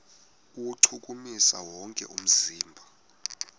kuwuchukumisa wonke umzimba